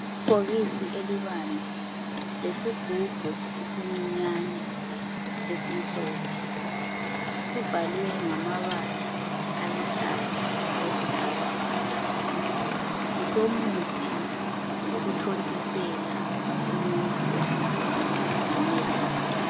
Ibhokisi elibanzi, lesigubhu esincinyane esimhlope sibhalwe ngamabala aluhlaza okwesibhakabhaka. Ngesomuthi okuthontisela umuntu obulawa ngamehlo.